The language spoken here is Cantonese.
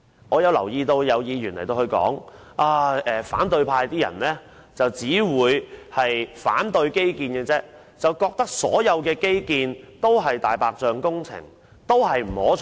我留意到有議員說反對派只懂反對基建，覺得所有基建均屬"大白象"工程，並不可取。